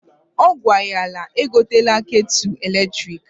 Ọ gwara ya egotela ketulu eletriki.